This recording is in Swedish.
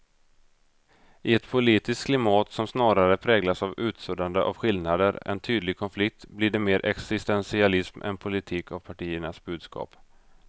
I ett politiskt klimat som snarare präglas av utsuddande av skillnader än tydlig konflikt blir det mer existentialism än politik av partiernas budskap.